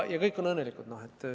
Ja kõik on õnnelikud.